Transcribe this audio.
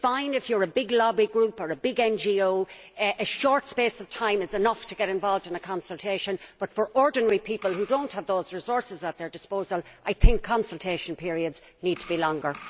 If you are big lobby group or a big NGO, a short space of time is enough to get involved in a consultation, but for ordinary people who do not have the same resources at their disposal, consultation periods need to be longer.